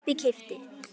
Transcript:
kaupi- keypti